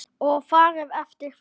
Og farið eftir því.